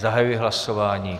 Zahajuji hlasování.